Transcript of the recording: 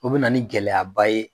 O be na ni gɛlɛyaba ye